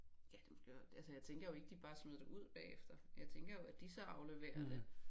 Ja det måske og altså jeg tænker jo ikke de bare smider det ud bagefter jeg tænker jo at de så afleverer det